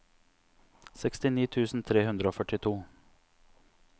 sekstini tusen tre hundre og førtito